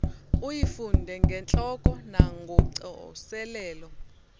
uyifunde ngentloko nangocoselelo